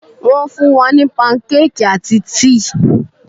Wón fún wa ní pancake àti tíì